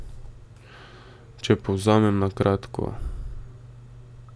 Če povzamem na kratko.